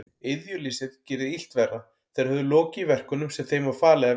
Iðjuleysið gerði illt verra, þeir höfðu lokið verkunum sem þeim var falið að vinna.